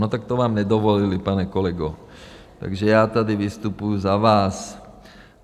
No, tak to vám nedovolili, pane kolego, takže já tady vystupuji za vás.